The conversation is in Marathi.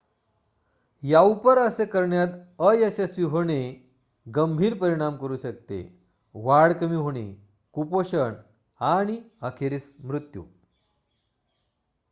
याउपर असे करण्यात अयशस्वी होणे गंभीर परिणाम करू शकते वाढ कमी होणे कुपोषण आणि अखेरीस मृत्यू